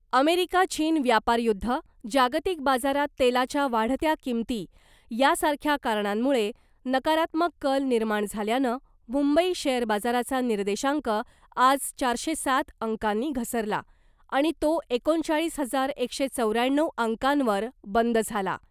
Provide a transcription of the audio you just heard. America चीन व्यापारयुद्ध, जागतिक बाजारात तेलाच्या वाढत्या किंमती यासारख्या कारणांमुळे नकारात्मक कल निर्माण झाल्यानं मुंबई शेअर बाजाराचा निर्देशांक आज चारशे सात अंकांनी घसरला , आणि तो एकोणचाळीस हजार एकशे चौऱ्याण्णव अंकांवर बंद झाला .